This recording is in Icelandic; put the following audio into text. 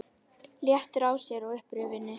Léttur á sér og upprifinn.